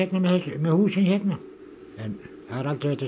með húsin hérna en það er aldrei hægt að